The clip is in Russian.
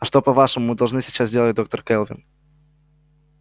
а что по-вашему мы должны сейчас делать доктор кэлвин